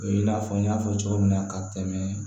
O ye i n'a fɔ n y'a fɔ cogo min na ka tɛmɛ